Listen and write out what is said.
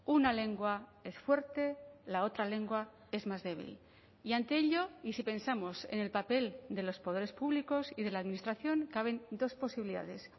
una lengua es fuerte la otra lengua es más débil y ante ello y si pensamos en el papel de los poderes públicos y de la administración caben dos posibilidades